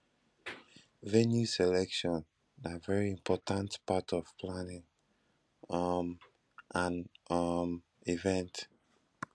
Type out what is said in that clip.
venue selection na very important part of planning um an um event